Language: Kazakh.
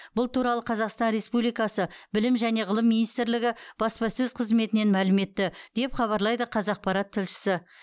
бұл туралы қазақстан республикасы білім және ғылым министрлігі баспасөз қызметінен мәлім етті деп хабарлайды қазақпарат тілшісі